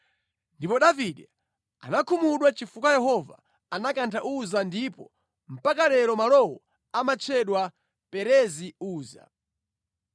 Ndipo Davide anakhumudwa chifukwa Yehova anakantha Uza ndipo mpaka lero malowo amatchedwa Perezi Uza.